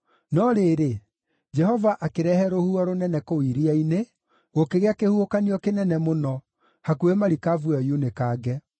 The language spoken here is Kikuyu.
No rĩrĩ, Jehova akĩrehe rũhuho rũnene kũu iria-inĩ, gũkĩgĩa kĩhuhũkanio kĩnene mũno, hakuhĩ marikabu ĩyo yunĩkange.